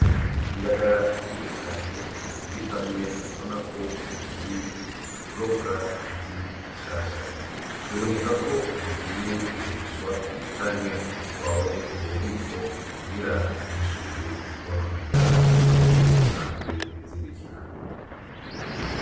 Indagara nyinshi cane ziri hamwe ubonako zivuye kurobwa zikiri zishasha zibonekako zigiye kugurishwa canke zitwawe mububiko kugirango ntizishobore kononekara aho zisanzwe zibikwa.